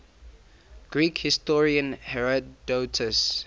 greek historian herodotus